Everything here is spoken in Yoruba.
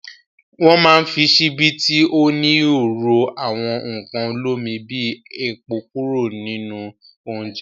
Wọ́ máa ń fi ṣíbí tí ó níhò ro àwọn nǹkan olómi bí epo kúrò nínú oúnjẹ.